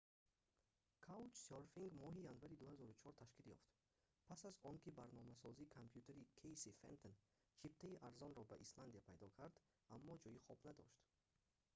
каучсёрфинг моҳи январи 2004 ташкил ёфт пас аз оне ки барномасози компютерӣ кэйси фентон чиптаи арзонро ба исландия пайдо кард аммо ҷойи хоб надошт